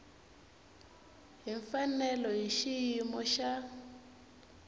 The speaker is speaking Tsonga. hi mfanelo hi xiyimo xa